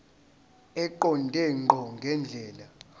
eqonde ngqo ngendlela